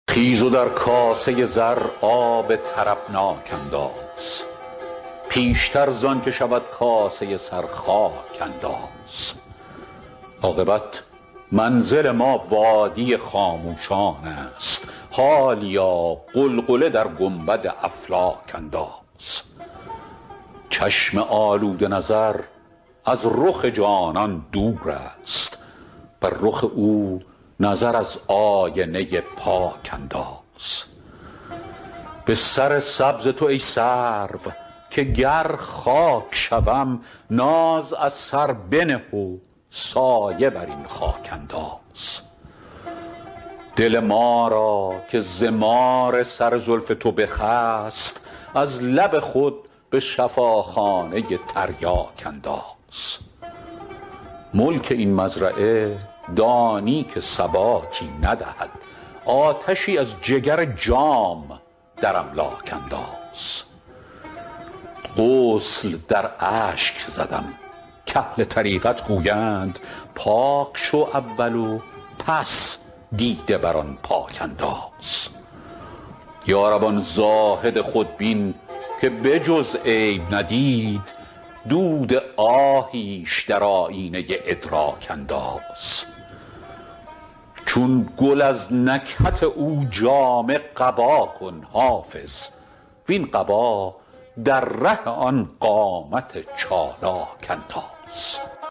خیز و در کاسه زر آب طربناک انداز پیشتر زان که شود کاسه سر خاک انداز عاقبت منزل ما وادی خاموشان است حالیا غلغله در گنبد افلاک انداز چشم آلوده نظر از رخ جانان دور است بر رخ او نظر از آینه پاک انداز به سر سبز تو ای سرو که گر خاک شوم ناز از سر بنه و سایه بر این خاک انداز دل ما را که ز مار سر زلف تو بخست از لب خود به شفاخانه تریاک انداز ملک این مزرعه دانی که ثباتی ندهد آتشی از جگر جام در املاک انداز غسل در اشک زدم کاهل طریقت گویند پاک شو اول و پس دیده بر آن پاک انداز یا رب آن زاهد خودبین که به جز عیب ندید دود آهیش در آیینه ادراک انداز چون گل از نکهت او جامه قبا کن حافظ وین قبا در ره آن قامت چالاک انداز